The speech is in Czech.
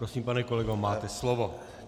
Prosím, pane kolego, máte slovo.